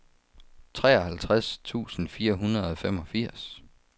treoghalvtreds tusind fire hundrede og femogfirs